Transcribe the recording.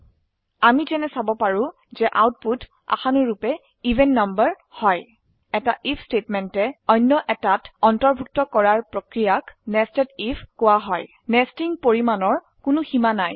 আমি যেনে চাব পাৰো যে আউটপুট আশানুৰুপে এভেন নাম্বাৰ হয় এটা আইএফ স্টেটমেন্টে অনয় এটাত অন্তৰ্ভুক্ত কৰাৰ প্ৰক্ৰিয়াক nested আইএফ কোৱা হয় নেস্টিং পৰিমাপেৰ কোনো সীমা নেই